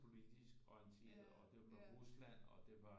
Politisk orienteret og det var med Rusland og det var